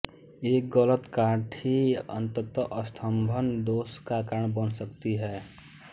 एक गलत काठी अंततः स्तंभन दोष का कारण बन सकती है